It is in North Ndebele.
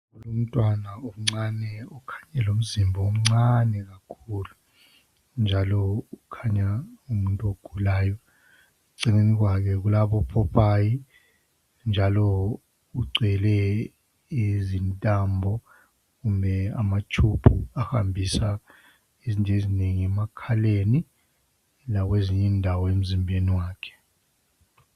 Lumntwana omncane ukhanya elomzimba omncane kakhulu njalo ukhanya engumuntu ogulayo kakhulu. Eceleni kwakhe kuyabopopayi njalo ugcwele izintambo kumbe amatshubhu ahambisa izinto ezinengi emakhaleni lakwezinye indawo emzimbeni wakhe